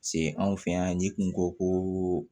Se anw fɛ yan n'i kun ko ko